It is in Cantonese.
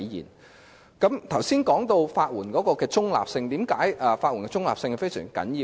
我剛才提到法援的中立性，為甚麼法援的中立性十分重要？